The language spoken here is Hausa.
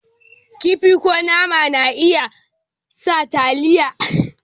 Kifi ko nama na iya sa taliyar dafa abinci ya yi ɗanɗano.